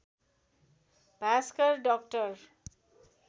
Bhaskar doctor